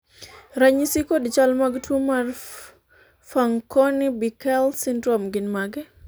ranyisi kod chal mag tuo mar Fanconi Bickel syndrome gin mage?